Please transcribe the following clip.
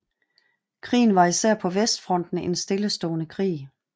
Krigen var især på vestfronten en stillestående krig